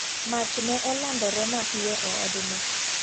Mach ne olandire mapiyo e od no.